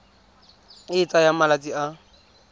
e e tsayang malatsi a